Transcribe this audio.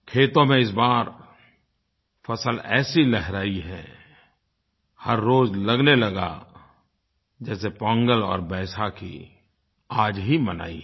खेतों में इस बार फ़सल ऐसी लहराई है हर रोज़ लगने लगा जैसे पोंगल और बैसाखी आज ही मनाई है